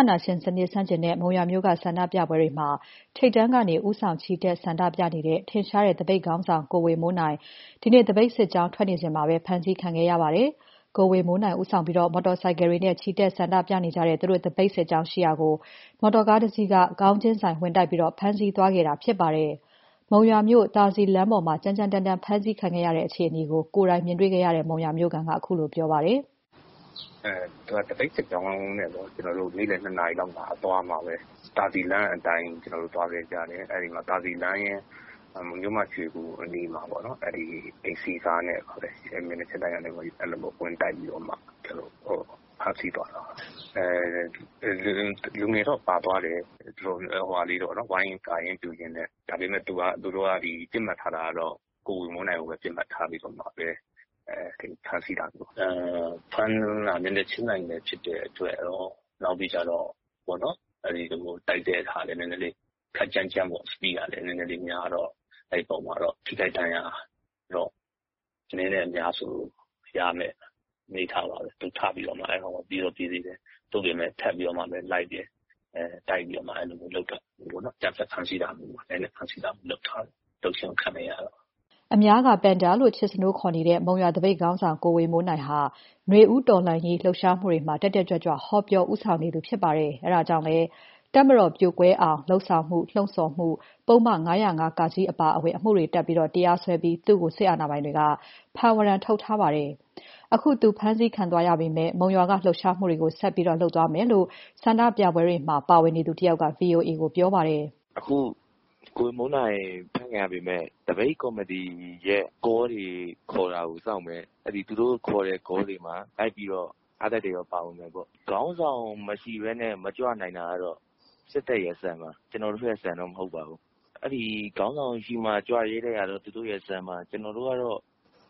ာဏာရှင်စနစ်ဆန့်ကျင်တဲ့ မုံရွာမြို့က ဆန္ဒပြပွဲတွေမှာ ထိပ်တန်းကနေ ဦးဆောင် ချီတက် ဆန္ဒပြနေတဲ့ ထင်ရှားတဲ့ သပိတ်ခေါင်းဆောင် ကိုဝေမိုးနိုင် ဒီနေ့ သပိတ်စစ်ကြောင်း ထွက်နေစဉ်မှာပဲ ဖမ်းဆီးခံခဲ့ရပါတယ်။ ကိုဝေမိုးနိုင်ဦးဆောင်ပြီး မော်တော်ဆိုင်ကယ်တွေနဲ့ ချီတက်ဆန္ဒပြနေကြတဲ့ သူတို့သပိတ်စစ်ကြောင်းရှိရာကို မော်တော်ကား တစီးက ခေါင်းချင်းဆိုင် ဝင်တိုက်ပြီး ဖမ်းဆီးသွားတာဖြစ်ပါတယ်။ မုံရွာမြို့ သာစည်လမ်းပေါ်မှာ ကြမ်းကြမ်းတမ်းတမ်း ဖမ်းဆီးခံရတဲ့ အခြေအနေကို ကိုယ်တိုင်မြင်တွေ့ခဲ့တဲ့ မုံရွာမြို့ခံက ခုလိုပြောပါတယ်။ “သပိတ်စစ်ကြောင်းအသွားမှာပဲ သာစည်လမ်းအတိုင်းသွားခဲ့ကြတယ်။ အဲမှာ သာစည်လမ်းနဲ့ မြို့မ ရွှေဂူအနီးမှာ အိမ်စီးကားနဲ့ပဲ မျက်နှာချင်းဆိုင်ဝင်တိုက်ပြီး ဖမ်းဆီးသွားတာပါ။ လူတွေတော့ပါတယ်၊ ဝိုင်းကာရင်းပြုရင်းနဲ့။ ဒါပေမယ့် သူတို့ကပစ်မှတ်ထားတာ ကိုဝေမိုးနိုင်ကိုပဲ ဖမ်းဆီးပစ်မှတ်ထားတာပါ။ ဖမ်းတာ မျက်နှာချင်းဆိုင်ဖြစ်တယ်။ တိုက်တာလည်း ခပ်ကြမ်းကြမ်းပေါ့၊ Speed ကလည်း နဲနဲလေးများတော့ အဲဒီပေါ်မှာတော့ ထိခိုက်ဒဏ်ရာရတော့ အနည်းနဲ့အများဆိုသလို များမယ့် အနေအထားပါပဲ။ သူထပြီးတော့မှ ပြေးတော့ ပြေးသေးတယ်။ သို့ပေမယ့် ထပ်ပြီးတော့လိုက်တယ်။ တိုက်ပြီးတော့မှ အဲဒီလိုမျိုး ရိုက်နှက်ဖမ်းဆီးတာမျိုး အကြမ်းဖက်ဖမ်းဆီးတာမျိုးလုပ်ခြင်း ခံလိုက်ရတယ်။” အများက ပန်ဒါလေးလို့ ချစ်စနိုး တင်စားခေါ်ဆိုကြတဲ့ မုံရွာသပိတ်ခေါင်းဆောင် ကိုဝေမိုးနိုင်ဟာ နွေဦးတော်လှန်ရေး လှုပ်ရှားမှုတွေမှာ တက်တက်ကြွကြွ ဟောပြော ဦးဆောင် ချီတက်နေသူဖြစ်ပါတယ်။ အဲဒါကြောင့်လည်း တပ်မတော်ပြိုကွဲအောင်လုပ်ဆောင်မှု ပုဒ်မ ၅၀၅ (က) အပါအဝင် ပုဒ်မ အတော်များများတပ်ပြီး သူ့ကို စစ်အာဏာပိုင်တွေက ဖမ်းဝရမ်းထုတ်ထားပါတယ်။ အခု သူ အဖမ်းခံသွားရပေမဲ့ မုံရွာက လှုပ်ရှားမှုတွေကို ဆက်ပြီး လုပ်သွားမယ်လို့ ဆန္ဒပြပွဲတွေမှာ ပါဝင်သူတယောက်က ဗွီအိုအေကို ပြောပါတယ်။ "ကိုဝေမိုးနိုင် ဖမ်းခံရပေမယ့် သပိတ်ကော်မတီရဲ့ကောတွေ ခေါ်တာစောင့်မယ်။ သူတို့ခေါ်တဲ့ ကောတွေမှာလိုက်ပြီးအားတက်သရောပါမယ်ပေါ့။ ခေါင်းဆောင်မရှိဘဲ မကြွနိုင်တာစစ်တပ် စံပါ၊ ကျနော်တို့စံတော့မဟုတ်ပါဘူး။ ခေါင်းဆောင်ရှိမှကြွရဲတဲ့ စံကသူတို့စံပါ ကျနော်တို့ကတော့